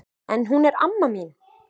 En hún er amma mín!